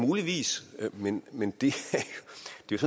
muligvis være men men det